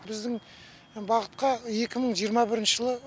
біздің бағытқа екі мың жиырма бірінші жылы